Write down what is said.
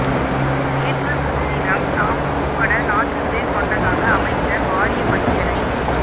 நேற்றுமுன்தினம் தாம் உட்பட நான்கு பேர் கொண்டதாக அமைச்சர் வாரியப் பட்டியலை